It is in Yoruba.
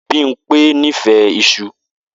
Bimpe nífẹ̀ẹ́ isu.